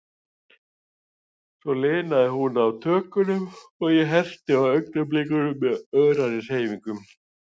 Svo linaði hún á tökunum, og ég herti á augnablikunum með örari hreyfingum.